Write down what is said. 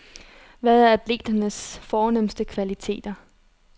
Hvad er atleternes fornemste kvaliteter?